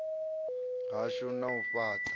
hashu na u fhat a